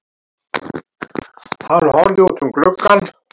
Hann horfði út um gluggann.